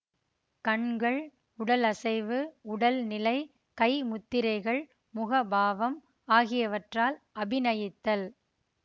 கண்கள் உடலசைவு உடல்நிலை கை முத்திரைகள் முக பாவம் ஆகியவற்றால் அபிநயித்தல்